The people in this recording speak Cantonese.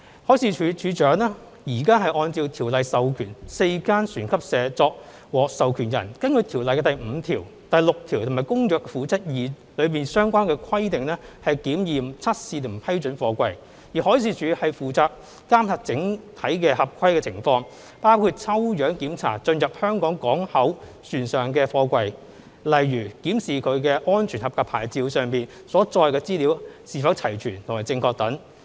海事處處長現時按照《條例》授權4間船級社作獲授權人，根據《條例》第5條、第6條和《公約》《附則 II》中的相關規定檢驗、測試和批准貨櫃；而海事處則負責監察整體合規情況，包括抽樣檢查進入香港港口船上的貨櫃，例如檢視其"安全合格牌照"上所載的資料是否齊全和正確等。